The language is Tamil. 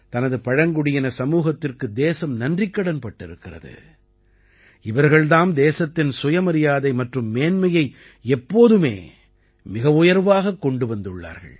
தனது பழங்குடியின சமூகத்திற்கு தேசம் நன்றிக்கடன்பட்டிருக்கிறது இவர்கள் தாம் தேசத்தின் சுயமரியாதை மற்றும் மேன்மையை எப்போதுமே மிகவுயர்வாகக் கொண்டு வந்துள்ளார்கள்